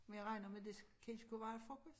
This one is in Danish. Men jeg regner med det det skulle være frokost